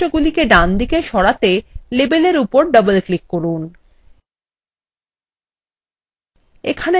এবং বৈশিষ্ট্যগুলিকে ডান দিকে সরাতে labelএর উপর ডবল ক্লিক করুন